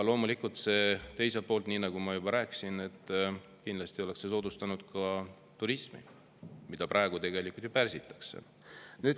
Loomulikult oleks see teiselt poolt, nii nagu ma juba rääkisin, soodustanud ka turismi, mida praegu tegelikult ju pärsitakse.